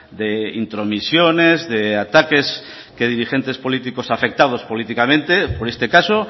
de intromisiones de ataques que dirigentes políticos afectados políticamente por este caso